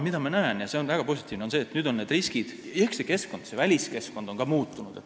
Ma näen seda – ja see on väga positiivne –, et nüüd on need riskid ehk keskkond, ka väliskeskkond muutunud.